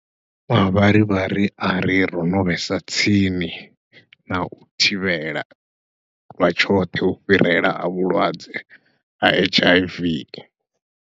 Mavharivhari ari ro no vhesa tsini nau thivhela lwa tshoṱhe u fhirela ha vhulwadze ha H_I_V.